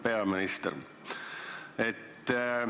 Hea peaminister!